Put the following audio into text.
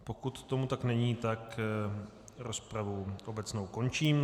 Pokud tomu tak není, tak rozpravu obecnou končím.